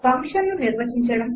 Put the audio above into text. ఫంక్షన్ను నిర్వచించడం